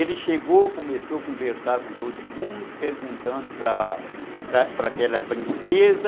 Ele chegou, começou a conversar com todo mundo, perguntando para para aquela princesa.